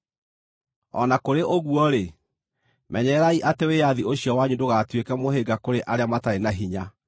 O na kũrĩ ũguo-rĩ, menyererai atĩ wĩyathi ũcio wanyu ndũgatuĩke mũhĩnga kũrĩ arĩa matarĩ na hinya.